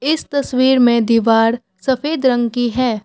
इस तस्वीर में दीवार सफेद रंग की है।